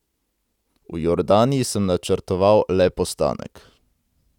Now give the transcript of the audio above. V Jordaniji sem načrtoval le postanek.